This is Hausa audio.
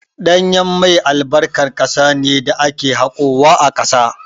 Ɗanyen mai albarkan ƙasa ne da ake haƙowa a ƙasa.